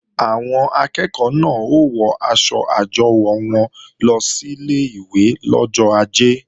Àwọn akẹ́ẹ̀kọ́ náà ó wọ aṣọ àjọwò wọn lọ sílé ìwé lọ́jọ ajé